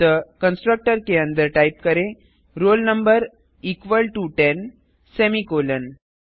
अतः कंस्ट्रक्टर के अंदर टाइप करें roll number equal to ten semicolon